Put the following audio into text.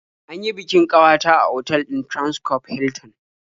An yi bikin ƙawata a otal ɗin Transcorp Hilton.